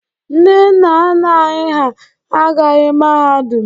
Ndị nna nna anyị hà agụghị mahadum.